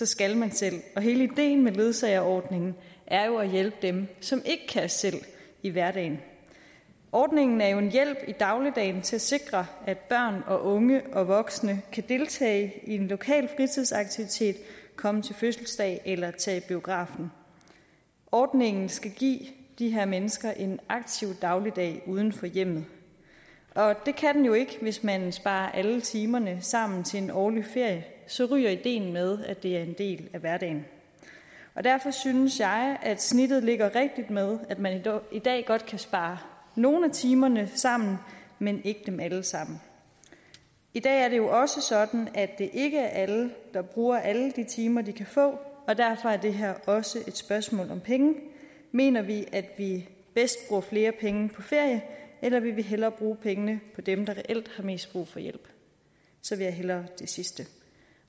skal man selv og hele ideen med ledsageordningen er jo at hjælpe dem som ikke kan selv i hverdagen ordningen er jo en hjælp i dagligdagen til at sikre at børn og unge og voksne kan deltage i en lokal fritidsaktivitet komme til fødselsdag eller tage i biografen ordningen skal give de her mennesker en aktiv dagligdag uden for hjemmet og det kan den jo ikke hvis man sparer alle timerne sammen til en årlig ferie så ryger ideen med at det er en del af hverdagen derfor synes jeg at snittet ligger rigtigt med at man i dag godt kan spare nogle af timerne sammen men ikke dem alle sammen i dag er det jo også sådan at det ikke er alle der bruger alle de timer de kan få og derfor er det her også et spørgsmål om penge mener vi at vi bedst bruger flere penge på ferie eller vil vi hellere bruge pengene på dem der reelt har mest brug for hjælp så vil jeg hellere det sidste